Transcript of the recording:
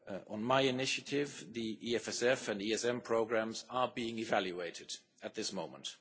On my initiative, the EFSF and ESM programmes are being evaluated at this moment.